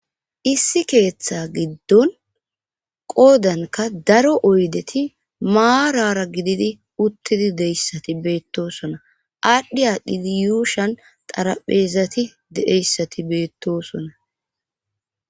issi keeththa giddon qoodanka daro oydeti maarara gididi uttidi deyssati beettosona aadhdhi aadhdhidi yuushan xarapheezati deeyssati beettosona